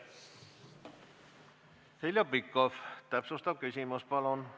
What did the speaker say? Heljo Pikhof, täpsustav küsimus, palun!